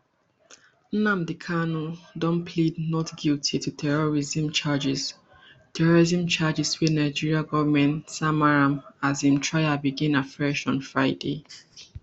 nnamdi kanu don plead not guilty to terrorism charges terrorism charges wey nigeria goment sama am as im trial begin afresh on friday